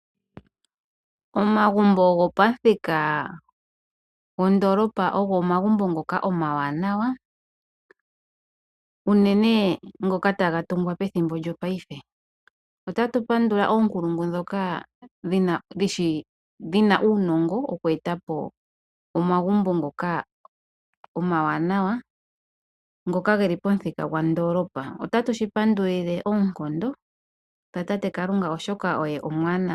Omagumbo go pamuthika gwo ndoolopa ogo omagumbo ngoka omawananwa unene ngoka ta ga tungwa pethimbo lyo payife, ota tu pandula oonkulungu ndhoka dhi na uunongo oku eta po omagumbo ngoka omawananwa ngoka ge li pomuthika gwa ndoolopa. Ota tu shipandulile oonkondo dha tate alunga oshoka oye omwaanawa.